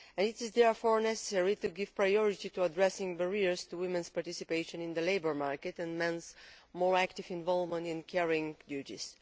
It is therefore necessary to give priority to addressing barriers to women's participation in the labour market and men's more active involvement in caring duties.